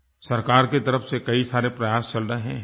सरकार की तरफ़ से कई सारे प्रयास चल रहे हैं